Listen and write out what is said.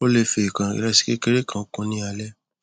o le fi ekan iresi kekere kan kun ni alẹ